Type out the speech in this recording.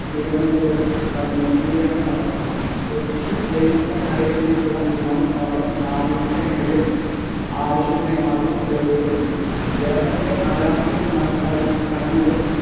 തിരുവനന്തപുരം കണ്ണൂർ എന്നിവയാണ് അവ. Kochi Wellington island ലുള്ള വിമാനത്താവളം നാവിക സേനയുടെ ആവശ്യത്തിനായി മാത്രം ഉപയോഗിക്കപ്പെടുന്നു കേരളത്തിലെ നാലാമത്തെ വിമാനത്താവളം കണ്ണൂരിൽ